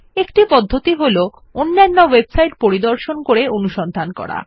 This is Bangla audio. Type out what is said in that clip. একটি পদ্ধতি হল অন্যান্য ওয়েবসাইট পরিদর্শন করে অনুসন্ধান করা